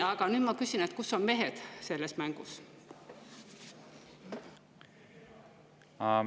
Ma küsin: kus on mehed selles mängus?